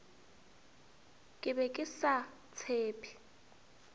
ke be ke sa tshephe